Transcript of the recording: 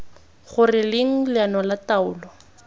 gore leng leano la taolo